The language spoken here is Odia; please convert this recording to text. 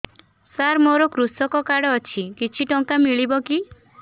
ସାର ମୋର୍ କୃଷକ କାର୍ଡ ଅଛି କିଛି ଟଙ୍କା ମିଳିବ କି